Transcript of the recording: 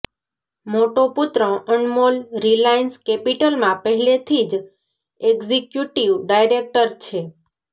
મોટો પુત્ર અનમોલ રિલાયન્સ કેપિટલમાં પહેલેથી જ એક્ઝિક્યુટિવ ડાયરેકટર છે